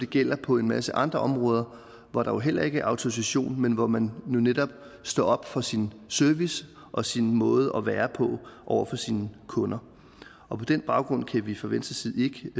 gælder på en masse andre områder hvor der jo heller ikke er autorisation men hvor man netop står op for sin service og sin måde at være på over for sine kunder på den baggrund kan vi fra venstres side